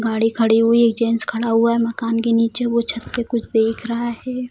गाड़ी खड़ी हुई है एक जेंट्स खड़ा हुआ है मकान के नीचे वो छत पे कुछ देख रहा है ।